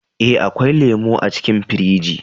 Eh, akwai lemu a cikin firij